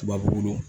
Tubabu